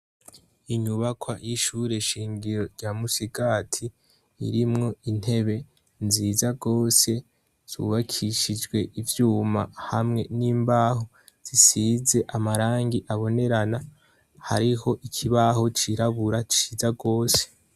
Inyubakwa y'ishure shingiro rya musigati, irimwo intebe nziza gose zubakishijwe ivyuma hamwe ni mbaho zisize amarangi abonerana, hariho ikibaho cirabura ciza gose.